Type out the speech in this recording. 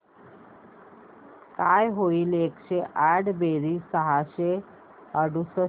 काय होईल एकशे आठ बेरीज सहाशे अडुसष्ट